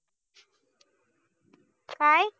काय